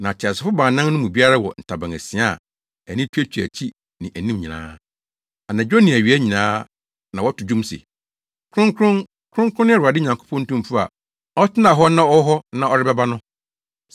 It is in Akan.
Na ateasefo baanan no mu biara wɔ ntaban asia a ani tuatua akyi ne anim nyinaa. Anadwo ne awia nyinaa na wɔto dwom se, “Kronkron, Kronkron ne Awurade Nyankopɔn Tumfo a ɔtenaa hɔ na ɔwɔ hɔ na ɔrebɛba no.”